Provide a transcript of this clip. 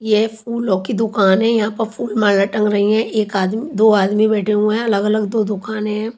ये फूलों की दुकान है यहाँ पर फूल माला टंग रही है एक आदमी दो आदमी बैठे हुए है अलग-अलग दो दुकानें है।